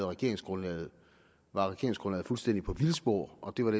regeringsgrundlaget fuldstændig på vildspor og det var